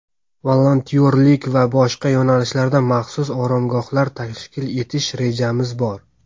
Volontyorlik va boshqa yo‘nalishlarda maxsus oromgohlar tashkil etish rejamiz bor.